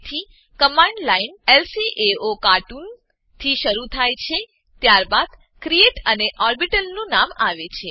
તેથી command line લ્કાઓકાર્ટૂન થી શરુ થાય છે ત્યારબાદ ક્રિએટ અને ઓર્બિટલ નું નામ આવે છે